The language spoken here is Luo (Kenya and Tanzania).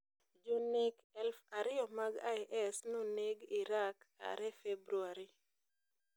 Jonek elf ariyo mag IS noneg Iraq are february